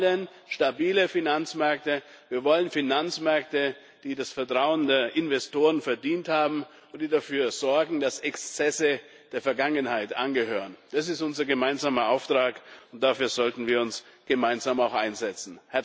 Wir wollen stabile Finanzmärkte, wir wollen Finanzmärkte, die das Vertrauen der Investoren verdient haben und die dafür sorgen, dass Exzesse der Vergangenheit angehören. Das ist unser gemeinsamer Auftrag, und dafür sollten wir uns auch gemeinsam einsetzen.